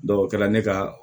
o kɛra ne ka